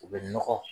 U bɛ nɔgɔ